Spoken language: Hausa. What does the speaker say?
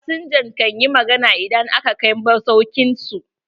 Fasinjan kan yi magana idan aka kai masauƙin su.